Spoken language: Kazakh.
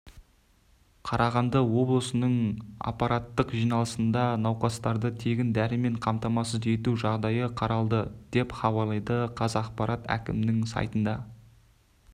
қарағанды облысының аппараттық жиналысында науқастарды тегін дәрімен қамтамасыз ету жағдайы қаралды деп хабарлайды қазақпарат әкімнің сайтына